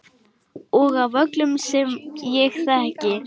Og af öllum sem ég þekki.